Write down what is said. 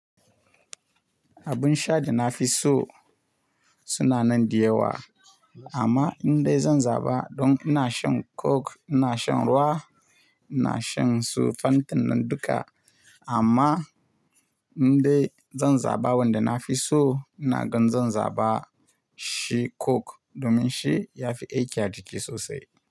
Abun sha da na fi so suna nan da yawa amma indai zan zaba don ina shan coke, ina shan ruwa, ina shan su fantin nan duka amma indai zan zaba wanda na fi so ina gan zan zaba shi coke domin shi ya fi aiki a jiki sosai.